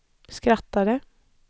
skrattade